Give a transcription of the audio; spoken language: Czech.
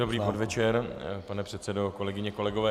Dobrý podvečer, pane předsedo, kolegyně, kolegové.